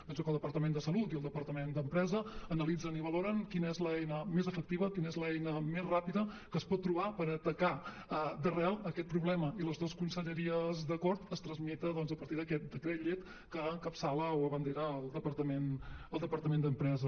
penso que el departament de salut i el departament d’empresa analitzen i valoren quina és l’eina més efectiva quina és l’eina més ràpida que es pot trobar per atacar d’arrel aquest problema i amb les dues conselleries d’acord es tramita doncs a partir d’aquest decret llei que encapçala o abandera el departament d’empresa